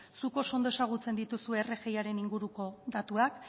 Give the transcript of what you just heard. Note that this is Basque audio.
zuk oso ondo ezagutzen dituzu rgiaren inguruko datuak